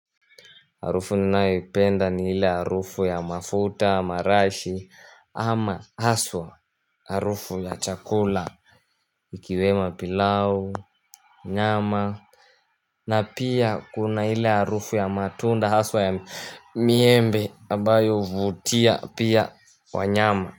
Harufu ninaiyoipenda ni hile harufu ya mafuta marashi ama haswa harufu ya chakula Ikiwemo pilau nyama na pia kuna hile harufu ya matunda haswa ya miembi ambayo huvutia pia wanyama.